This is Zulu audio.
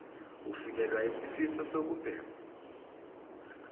ufikelwa yisifiso sokubhema